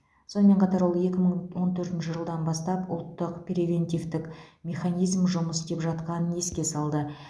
сонымен қатар ол екі мың он төртінші жылдан бастап ұлттық превентивтік механизм жұмыс істеп жатқанын еске салды